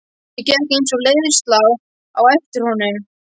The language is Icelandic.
Ég gekk eins og í leiðslu á eftir honum.